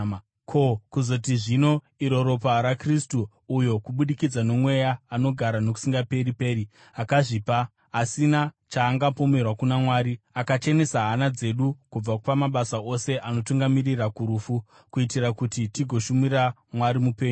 Ko, kuzoti zvino iro ropa raKristu, uyo kubudikidza noMweya unogara nokusingaperi, akazvipa, asina chaangapomerwa kuna Mwari, akachenesa hana dzedu kubva pamabasa ose anotungamirira kurufu, kuitira kuti tigoshumira Mwari Mupenyu!